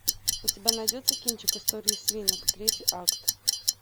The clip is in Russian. у тебя найдется кинчик истории свинок третий акт